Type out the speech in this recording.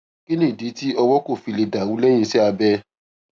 kí nìdí tí ọwó kò fi lè dà rú léyìn iṣé abẹ